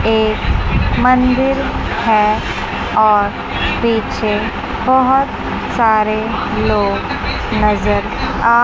एक मंदिर है और पीछे बहुत सारे लोग नजर आ--